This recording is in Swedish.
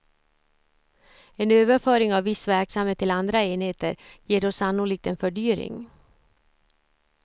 En överföring av viss verksamhet till andra enheter ger då sannolikt en fördyring.